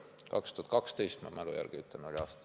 See oli 2012, ma mälu järgi ütlen.